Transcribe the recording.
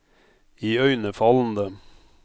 iøynefallende